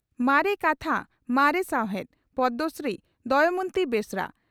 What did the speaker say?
ᱢᱟᱨᱮ ᱠᱟᱛᱷᱟ ᱢᱟᱨᱮ ᱥᱟᱣᱦᱮᱫ (ᱯᱚᱫᱽᱢᱚᱥᱨᱤ ᱫᱚᱢᱚᱭᱚᱱᱛᱤ ᱵᱮᱥᱨᱟ)